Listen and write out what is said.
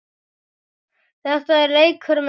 Þetta er leikur með tákn